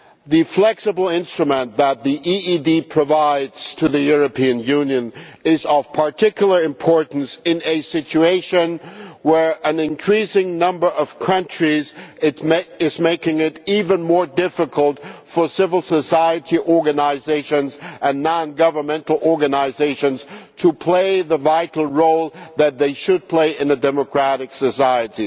The flexible instrument that the EED provides to the European Union is of particular importance in a situation where an increasing number of countries is making it even more difficult for civil society organisations and non governmental organisations to play the vital role that they should play in a democratic society.